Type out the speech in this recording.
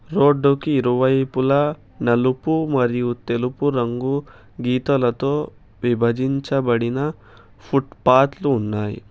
రోడ్డుకి ఇరువైపులా నలుపు మరియు తెలుపు రంగు గీతలతో విభజించబడిన ఫుట్పాత్లు ఉన్నాయి.